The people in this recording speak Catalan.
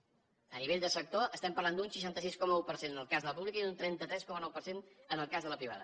a nivell de sector estem parlant d’un seixanta sis coma un per cent en el cas de la pública i un trenta tres coma nou per cent en el cas de la privada